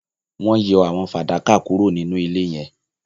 wón yọ àwo fadakà kúrò ninú ilé yen